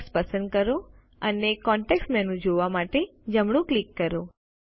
text પસંદ કરો અને કોન્ટેક્ષ મેનુ જોવા માટે જમણું ક્લિક કરો